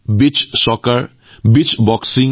এয়া আছিল ভাৰতৰ প্ৰথম মাল্টি স্পৰ্টছ বীচ্চ গেমছ